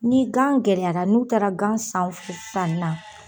Ni gan gɛlɛyara n'u taara gan sanw f san na